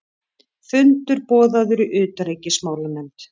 Fundur boðaður í utanríkismálanefnd